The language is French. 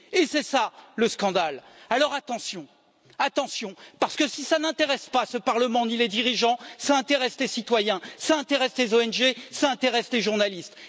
Et c'est ça le scandaleǃ Alors attention, attention parce que si ça n'intéresse pas ce Parlement ni les dirigeants, ça intéresse les citoyens, les ONG et les journalistes.